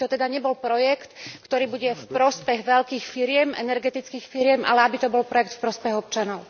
Aby to teda nebol projekt, ktorý bude v prospech veľkých firiem, energetických firiem, ale aby to bol projekt v prospech občanov.